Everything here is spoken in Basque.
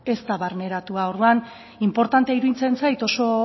ez da barneratua orduan inportantea iruditzen zait